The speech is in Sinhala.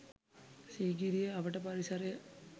සීගිරිය අවට පරිසරය